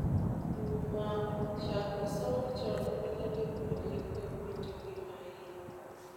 E wi mao, chako somo chon konyo jopuonjre kod winjo gi maiye.